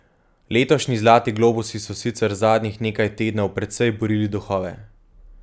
Letošnji zlati globusi so sicer zadnjih nekaj tednov precej burili duhove.